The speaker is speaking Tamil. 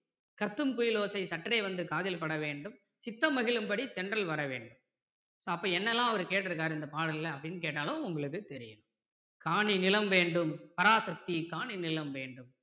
கத்துங் குயிலோசை சற்றே வந்து காதில் பட வேண்டும் சித்தம் மகிழும் படி தென்றல் வரவேண்டும் அப்போ என்னெல்லாம் அவர் கேட்டிருக்கிறாரு இந்த பாடல்ல அப்படின்னு கேட்டாலும் உங்களுக்கு தெரியும் காணி நிலம் வேண்டும் பராசக்தி காணி நிலம் வேண்டும்